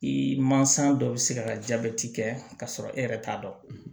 I mansa dɔ bɛ se ka jaabi kɛ k'a sɔrɔ e yɛrɛ t'a dɔn